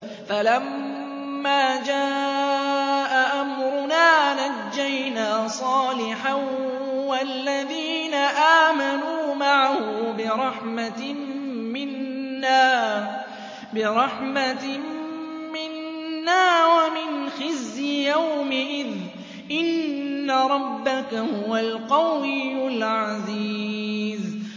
فَلَمَّا جَاءَ أَمْرُنَا نَجَّيْنَا صَالِحًا وَالَّذِينَ آمَنُوا مَعَهُ بِرَحْمَةٍ مِّنَّا وَمِنْ خِزْيِ يَوْمِئِذٍ ۗ إِنَّ رَبَّكَ هُوَ الْقَوِيُّ الْعَزِيزُ